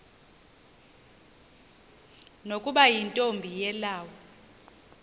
nokuba yintombi yelawu